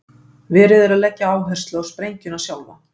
Verið er að leggja áherslu á sprengjuna sjálfa.